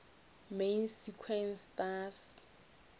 main sequence stars